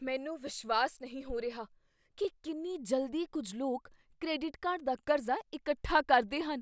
ਮੈਨੂੰ ਵਿਸ਼ਵਾਸ ਨਹੀਂ ਹੋ ਰਿਹਾ ਕੀ ਕਿੰਨੀ ਜਲਦੀ ਕੁੱਝ ਲੋਕ ਕ੍ਰੈਡਿਟ ਕਾਰਡ ਦਾ ਕਰਜ਼ਾ ਇਕੱਠਾ ਕਰਦੇ ਹਨ।